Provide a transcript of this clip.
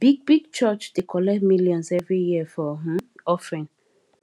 big big church dey collect millions every year for um offering